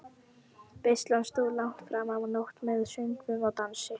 Veislan stóð langt fram á nótt með söngvum og dansi.